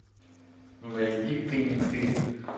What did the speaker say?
найди ты не ты